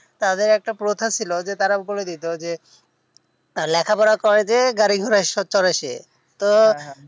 তাদের একটা প্রথা ছিল যে তারা বলে দিতো যে লেখা পড়া করে যে গাড়ি ঘরে চড়ে সে তো